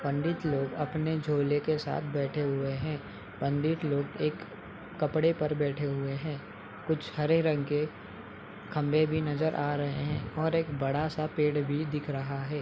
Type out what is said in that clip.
पंडित लोग अपने झोले के साथ बैठे हुए हैं। पंडित लोग एक कपड़े पर बैठे हुए हैं। कुछ हरे रंग के खंभे भी नजर आ रहे हैं और एक बड़ा-सा पेड़ भी दिख रहा है।